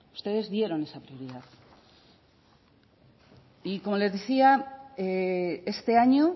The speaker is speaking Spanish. ustedes dieron esa prioridad y como les decía este año